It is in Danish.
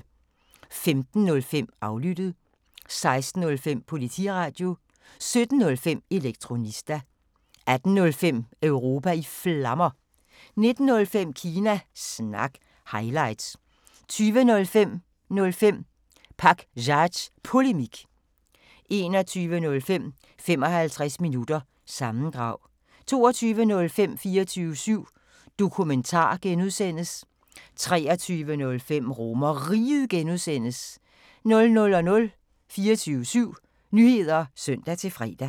15:05: Aflyttet 16:05: Politiradio 17:05: Elektronista 18:05: Europa i Flammer 19:05: Kina Snak – highlights 20:05: 05 Pakzads Polemik 21:05: 55 Minutter – sammendrag 22:05: 24syv Dokumentar (G) 23:05: RomerRiget (G) 00:00: 24syv Nyheder (søn-fre)